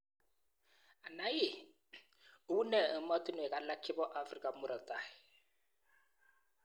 Ana ii, unee emotinwek alake chebo Afrika murot tai.